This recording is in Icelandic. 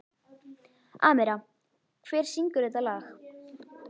Amíra, hver syngur þetta lag?